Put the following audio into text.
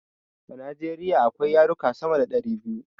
A Najeriya akwai yaruka sama da ɗari biyu